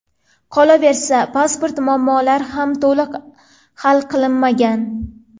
Qolaversa, pasport muammolari ham to‘liq hal qilinmagan.